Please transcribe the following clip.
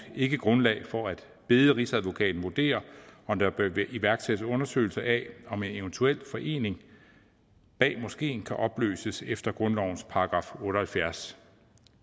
ikke grundlag for at bede rigsadvokaten vurdere om der bør iværksættes undersøgelser af om en eventuel forening bag moskeen kan opløses efter grundlovens § otte og halvfjerds